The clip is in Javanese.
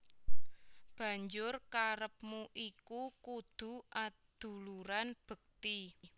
Banjur karepmu iku kudu aduluran bekti